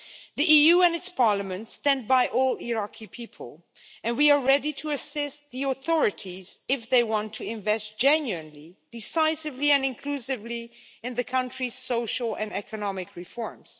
The EU and its parliaments stand by all Iraqi people, and we are ready to assist the authorities if they want to invest genuinely, decisively and inclusively in the country's social and economic reforms.